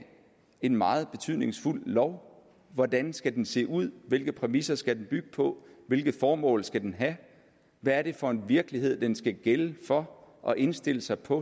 en meget betydningsfuld lov hvordan skal den se ud hvilke præmisser skal den bygge på hvilket formål skal den have hvad er det for en virkelighed den skal gælde for og indstille sig på